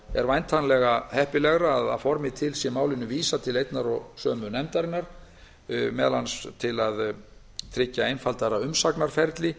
er væntanlega heppilegra að að formi til sé málinu vísað til einnar nefndar meðal annars til að tryggja einfaldara umsagnarferli